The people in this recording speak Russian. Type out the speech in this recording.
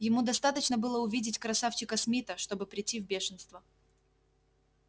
ему достаточно было увидеть красавчика смита чтобы прийти в бешенство